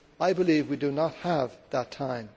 I believe we do not have that time.